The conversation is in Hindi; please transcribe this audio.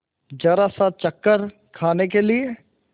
जरासा चक्कर खाने के लिए